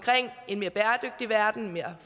en mere bæredygtig verden en mere